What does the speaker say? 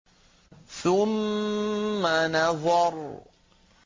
ثُمَّ نَظَرَ